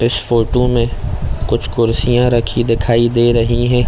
इस फोटो में कुछ कुर्सियाँ रखी दिखाई दे रही है।